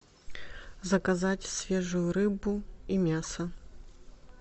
заказать свежую рыбу и мясо